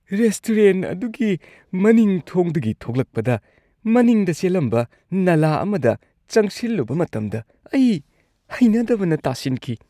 Restaurant ꯑꯗꯨꯒꯤ ꯃꯅꯤꯡ ꯊꯣꯡꯗꯒꯤ ꯊꯣꯛꯂꯛꯄꯗ, ꯃꯅꯤꯡꯗ ꯆꯦꯜꯂꯝꯕ ꯅꯂꯥ ꯑꯃꯗ ꯆꯪꯁꯤꯜꯂꯨꯕ ꯃꯇꯝꯗ ꯑꯩ ꯍꯩꯅꯗꯕꯅ ꯇꯥꯁꯤꯟꯈꯤ꯫